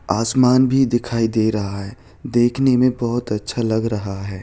आसमान भी दिखाई दे रहा है। देखने मै बहुत अच्छा लग रहा है।